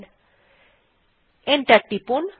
তারপর এন্টার টিপুন